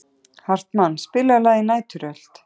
Hartmann, spilaðu lagið „Næturrölt“.